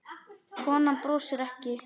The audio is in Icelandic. Konan brosir ekki.